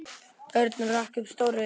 Örn rak upp stór augu.